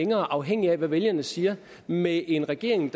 mere afhængigt af hvad vælgerne siger med en regering